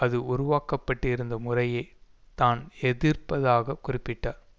அது உருவாக்கப்பட்டிருந்த முறையை தான் எதிர்ப்பதாக குறிப்பிட்டார்